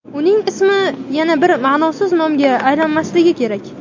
Uning ismi yana bir ma’nosiz nomga aylanmasligi kerak.